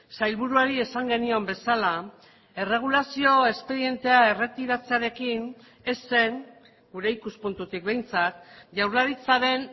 sailburuari esan genion bezala erregulazio espedientea erretiratzearekin ez zen gure ikuspuntutik behintzat jaurlaritzaren